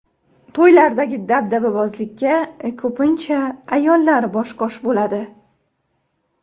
To‘ylardagi dabdababozlikka ko‘pincha ayollar bosh-qosh bo‘ladi.